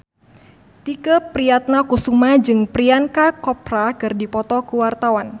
Tike Priatnakusuma jeung Priyanka Chopra keur dipoto ku wartawan